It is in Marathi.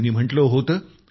त्यांनी म्हटलं होतं